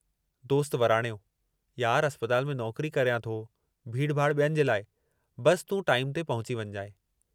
दोस्त वराणियो "यार अस्पताल में नौकरी करियां थो, भीड़भाड़ ॿियनि जे लाइ, बस तूं टाईम ते पहुची वञिजांइ।